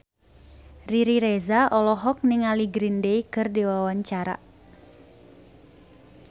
Riri Reza olohok ningali Green Day keur diwawancara